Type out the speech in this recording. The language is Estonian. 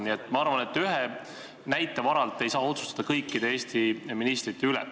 Üldiselt ma arvan, et ühe näite varal ei saa otsustada kõikide Eesti ministrite üle.